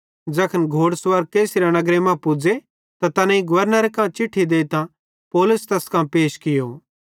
ज़ैखन घोड़ सुवार कैसरिया नगरे मां पुज़े त तैनेईं गवर्नरे कां चिट्ठी देइतां पौलुस तैस कां पैश कियो